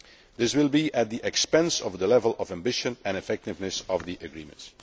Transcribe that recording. This will be at the expense of the level of ambition and effectiveness of the agreement.